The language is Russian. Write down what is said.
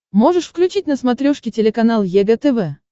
можешь включить на смотрешке телеканал егэ тв